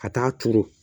Ka taa turu